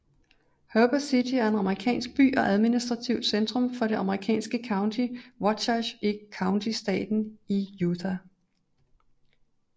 Heber City er en amerikansk by og administrativt centrum for det amerikanske county Wasatch County i staten Utah